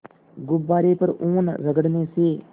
गुब्बारे पर ऊन रगड़ने से